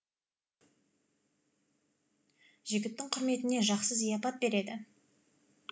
жігіттің құрметіне жақсы зияпат береді